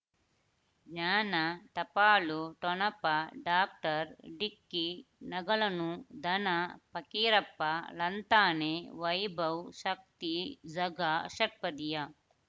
ಜ್ಞಾನ ಟಪಾಲು ಠೊಣಪ ಡಾಕ್ಟರ್ ಢಿಕ್ಕಿ ಣಗಳನು ಧನ ಫಕೀರಪ್ಪ ಳಂತಾನೆ ವೈಭವ್ ಶಕ್ತಿ ಝಗಾ ಷಟ್ಪದಿಯ